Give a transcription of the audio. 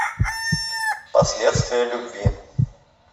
последствия любви